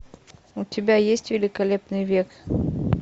у тебя есть великолепный век